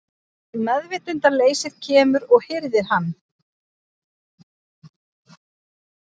Meðvitundarleysið kemur og hirðir hann.